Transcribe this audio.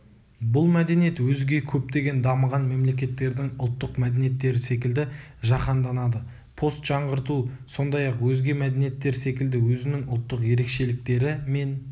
бұл мәдениет өзге көптеген дамыған мемлекеттердің ұлттық мәдениеттері секілді жаһанданады постжаңғырту сондай-ақ өзге мәдениеттер секілді өзінің ұлттық ерекшеліктері мен